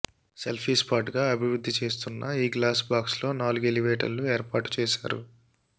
selfie స్పాట్గా అభివృద్ధి చేస్తున్న ఈ గ్లాస్ బాక్స్లో నాలుగు ఎలివేటర్లు ఏర్పాటు చేశారు